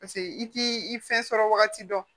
Paseke i t'i i fɛn sɔrɔ wagati dɔn